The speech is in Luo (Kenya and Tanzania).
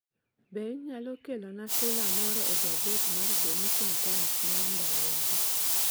Be inyalo kelona sula moro e gaset mar The Nation Times mar ndalowagi?